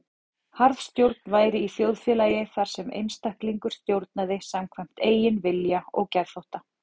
Harðstjórn væri í þjóðfélagi þar sem einstaklingur stjórnaði samkvæmt eigin vilja og geðþótta.